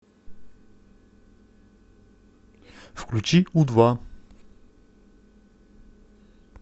включи у два